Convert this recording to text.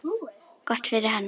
Gott fyrir hana.